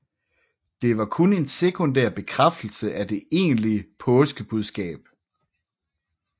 Det var kun en sekundær bekræftelse af det egentlige påskebudskab